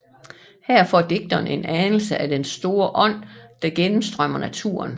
Her får digteren en anelse af den store ånd der gennemstrømmer naturen